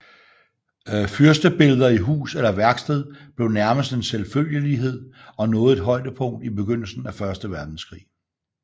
Fyrstebilleder i hus eller værksted blev nærmest en selvfølgelighed og nåede et højdepunkt i begyndelsen af første verdenskrig